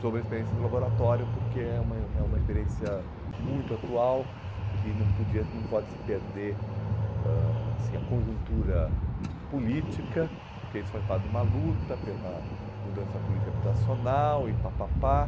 sobre a experiência do laboratório, porque é uma uma é uma experiência muito atual, que não podia não pode se perder ãh assim a conjuntura política, porque isso faz parte de uma luta pela mudança política habitacional e papapá.